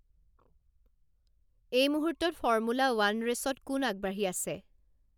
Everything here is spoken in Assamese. এই মুহূৰ্তত ফৰ্মূলা ৱান ৰেচত কোন আগবাঢ়ি আছে